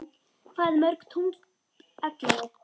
Hvað mörg tungl ellefu?